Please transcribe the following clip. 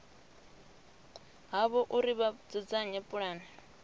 havho uri vha dzudzanye pulane